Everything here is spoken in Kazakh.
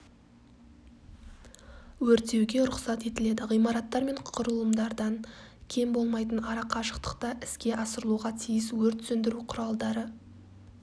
өрттеуге рұқсат етіледі ғимараттар мен құрылымдардан кем болмайтын арақашықтықта іске асырылуға тиіс өрт сөндіру құралдары